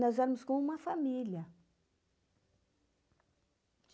Nós éramos como uma família.